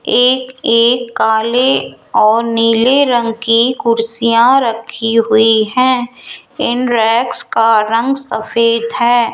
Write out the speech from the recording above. एक एक काले और नीले रंग की कुर्सियां रखी हुई हैं इन रैक्स का रंग सफेद है।